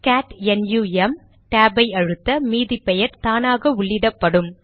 gate NUM டேபை அழுத்த மீதி பெயர் தானாக உள்ளிடப்படும்